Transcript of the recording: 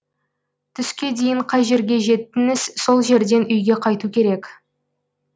түске дейін қай жерге жеттіңіз сол жерден үйге қайту керек